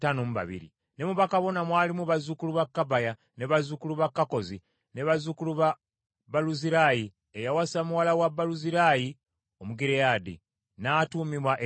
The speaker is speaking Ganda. Ne ku bakabona kwaliko bazzukulu ba Kobaya, ne bazzukulu ba Kakkozi, ne bazzukulu ba Baluzirayi eyawasa muwala wa Baluzirayi Omugireyaadi, n’atuumibwa erinnya eryo.